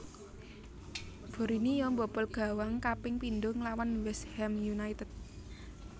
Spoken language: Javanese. Borinio mbobol gawang kaping pindho nglawan West Ham United